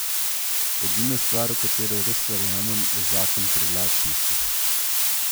Edina stvar, v katero res verjamem, je zakon privlačnosti.